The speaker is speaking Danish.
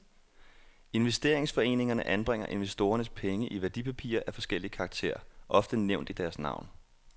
Investeringsforeningerne anbringer investorernes penge i værdipapirer af forskellig karakter, ofte nævnt i deres navn.